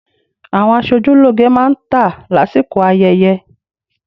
Àwọn aṣojúlógé má ń tà lásìkò ayẹyẹ